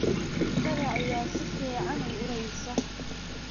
Jikada ayaa si fiican u uraysa.